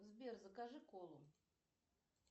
сбер закажи колу